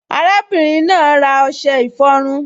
Arábìnrin náà ra ọṣẹ ìfọrun